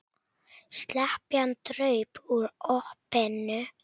Slepjan draup úr opinu.